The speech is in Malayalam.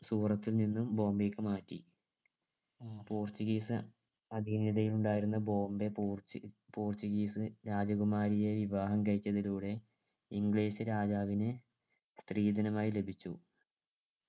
സൂറത്തിൽ നിന്നും ബോംബെക്ക് മാറ്റി portuguese അതിനിടയിൽ ഉണ്ടായിരുന്ന ബോംബെ പോർറ്റ് portuguese രാജകുമാരിയെ വിവാഹം കഴിച്ചതിലൂടെ english രാജാവിന് സ്ത്രീധനമായി ലഭിച്ചു